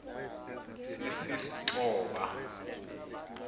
sisistoba